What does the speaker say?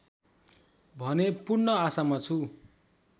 भन्ने पूर्ण आशामा छु